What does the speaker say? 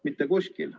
Mitte kuskil.